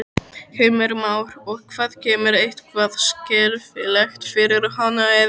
Heimir Már: Og hvað kemur eitthvað skelfilegt fyrir hana eða?